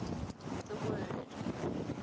the word